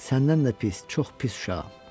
Səndən də pis, çox pis uşağam.